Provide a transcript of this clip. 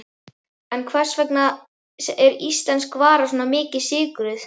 En hvers vegna er íslensk vara svona mikið sykruð?